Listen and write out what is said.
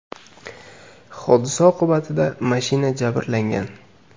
Hodisa oqibatida mashina jabrlangan.